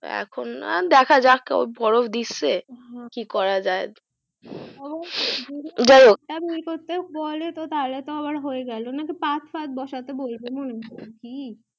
তো এখন দকাজক বরফ দিচ্ছে কি করাযায় যাইহোক বলে তো আবার হয়েগেলো নাকি পাথ সাথ বসাতে বলবে নাকি